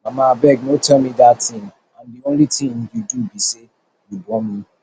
mama abeg no tell me dat thing and the only thing you do be say you born me